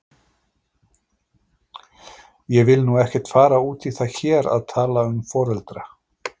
Ég vil nú ekkert fara út í það hér að tala um foreldra.